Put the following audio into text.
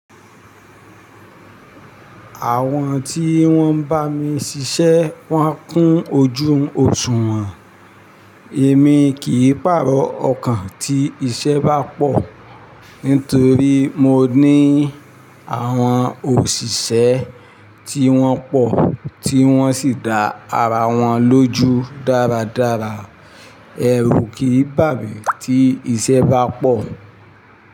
Àwọn tí wón ń bá mi ṣiṣẹ́ wọ́n kún ojú òṣùwọ̀n. Èmi kìí pàrọ̀ ọkàn tí iṣẹ́ bá pọ̀, nítorí mo ní àwọn òṣìṣẹ́ tí wọ́n pọ̀ tí wọ́n sì da ara wọn lójú dáradára. Èrù kì í bà mí tí iṣẹ́ bá pọ̀.